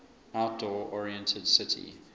outdoor oriented city